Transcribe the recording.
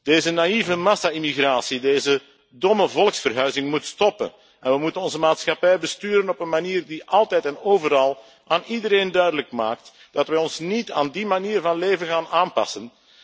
Deze naïeve massa immigratie, deze domme volksverhuizing moet stoppen en we moeten onze maatschappij besturen op een manier die altijd en overal aan iedereen duidelijk maakt dat wij ons niet aan die manier van leven gaan aanpassen.